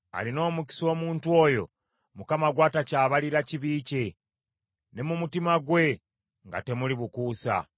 Alina omukisa omuntu oyo Mukama gw’atakyabalira kibi kye, ne mu mutima gwe nga temuli bukuusa.